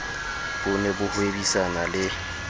bo ne bo hwebisana le